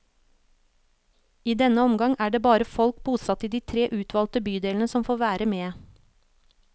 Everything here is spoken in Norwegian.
I denne omgang er det bare folk bosatt i de tre utvalgte bydelene som får være med.